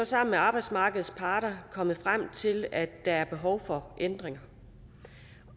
sammen med arbejdsmarkedets parter kommet frem til at der er behov for ændringer